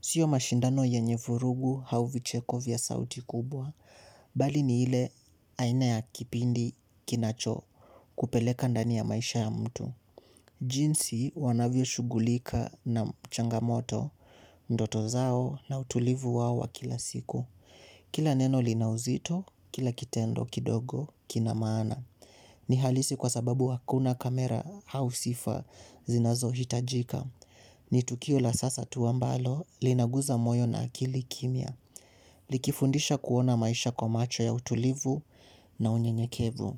Sio mashindano yenye vurugu au vicheko vya sauti kubwa bali ni ile aina ya kipindi kinacho kupeleka ndani ya maisha ya mtu. Jinsi wanavyo shughulika na changamoto ndoto zao na utulivu wao wa kila siku. Kila neno lina uzito, kila kitendo kidogo, kina maana. Ni halisi kwa sababu hakuna kamera au sifa zinazohitajika. Ni tukio la sasa tu ambalo, linagusa moyo na akili kimya. Likifundisha kuona maisha kwa macho ya utulivu na unyenyekevu.